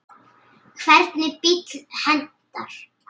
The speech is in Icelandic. Hvernig bíll hentar?